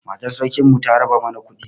Matar sarkin mu ta raba mana kuɗi